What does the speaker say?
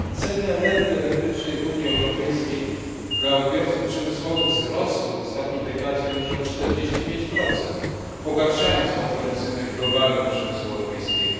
Ceny energii elektrycznej w Unii Europejskiej dla odbiorców przemysłowych wzrosły w ostatniej dekadzie już o 45, pogarszając konkurencyjność globalną przemysłu europejskiego.